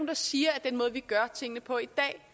der siger at den måde vi gør tingene på